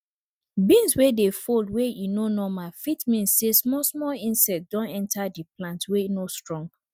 beans wey dey fold wey e no normal fit mean say small small insect don enter di plant wey no strong